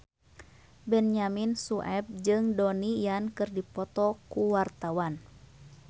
Benyamin Sueb jeung Donnie Yan keur dipoto ku wartawan